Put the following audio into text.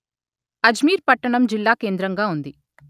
అజ్మీర్ పట్టణం జిల్లాకేంద్రంగా ఉంది